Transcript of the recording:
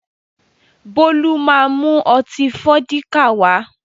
Bólú má mú ọtí Fọ́díkà wá